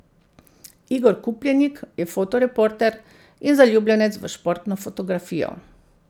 Igor Kupljenik je fotoreporter in zaljubljenec v športno fotografijo.